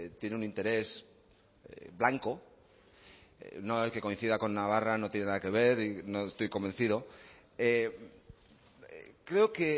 tiene un interés blanco no el que coincida con navarra no tiene nada que ver y no estoy convencido creo que